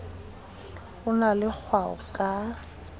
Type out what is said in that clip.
o na le kgwao ka